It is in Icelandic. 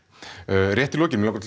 rétt í lokin langar